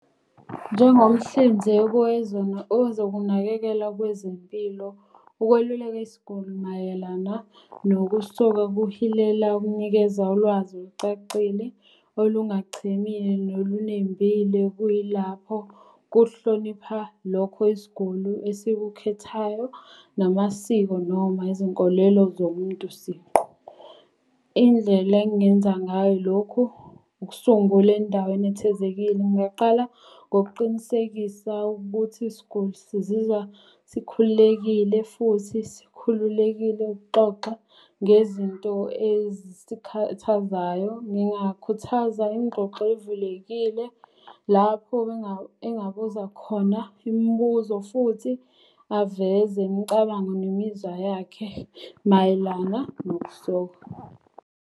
Njengomhlinzeki wezokunakekela kwezempilo ukweluleka isiguli mayelana nokusoka kuhilela ukunikeza ulwazi olucacile, olungachimile nolunembile kuyilapho kuhlonipha lokho isiguli esikukhethayo namasiko, noma izinkolelo zomuntu siqu. Indlela engingenza ngayo lokhu ukusungula endaweni ethezekile. Ngingaqala ngokuqinisekisa ukuthi isiguli sizizwa sikhululekile futhi sikhululekile ukuxoxa ngezinto ezikhathazayo. Ngingakhuthaza ingxoxo evulekile lapho engabuza khona imibuzo, futhi aveze imicabango nemizwa yakhe mayelana nokusoka.